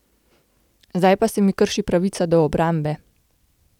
Zdaj pa se mi krši pravica do obrambe.